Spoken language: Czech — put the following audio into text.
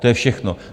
To je všechno.